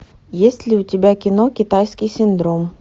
есть ли у тебя кино китайский синдром